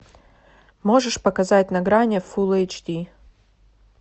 можешь показать на грани фулл эйч ди